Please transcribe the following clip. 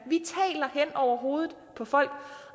over hovedet på folk